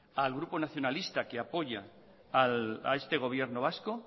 al grupo nacionalista que apoya a este gobierno vasco